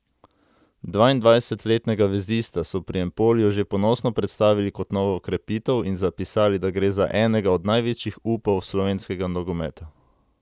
Dvaindvajsetletnega vezista so pri Empoliju že ponosno predstavili kot novo okrepitev in zapisali, da gre za enega od največjih upov slovenskega nogometa.